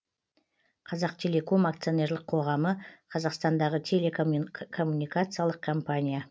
қазақтелеком акционерлік қоғамы қазақстандағы телекоммуникациялық компания